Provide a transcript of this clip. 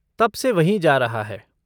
तब से वहीं जा रहा है।